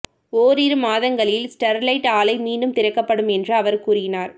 ஓரிரு மாதங்களில் ஸ்டெர்லைட் ஆலை மீண்டும் திறக்கப்படும் என்று அவர் கூறினார்